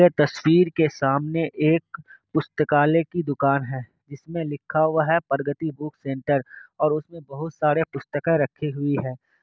ये तस्वीर के सामने एक पुस्तकालय की दूकान है जिसमे लिखा हुआ है प्रगति बुक सेंटर । और उसमे बहुत सारी पुस्तका रखी हुई है।